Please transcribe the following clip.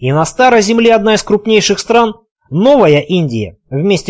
и на старой земле одна из крупнейших стран новая индия вместе